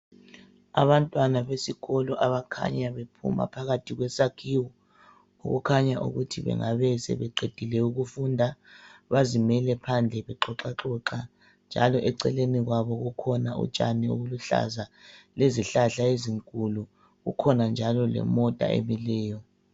Abantwana besikolo abakhanya bephuma phakathi kwesakhiwo okukhanya ukuthi bengabe sebeqedile ukufunda. Bazimele phandle bexoxaxoxa njalo eceleni kwabo kukhona utshani obuluhlaza lezihlahla ezinkulu. Kukhona njalo lemota emileyo.